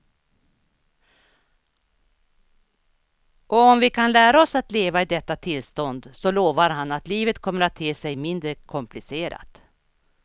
Och om vi kan lära oss att leva i detta tillstånd så lovar han att livet kommer att te sig mindre komplicerat.